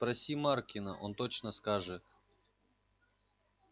спроси маркина он точно скажет